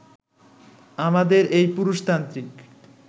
আমাদের এই পুরুষতান্ত্রিক